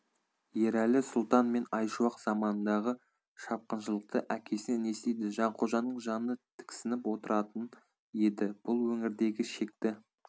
ерәлі сұлтан мен айшуақ заманындағы шапқыншылықты әкесінен естиді жанқожаның жаны тіксініп отыратын еді бұл өңірдегі шекті